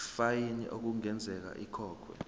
ifayini okungenzeka ikhokhwe